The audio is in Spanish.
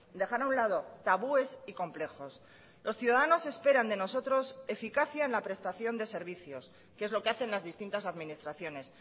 dejar a un lado tabúes y complejos los ciudadanos esperan de nosotros eficacia en la prestación de servicios que es lo que hacen las distintas administraciones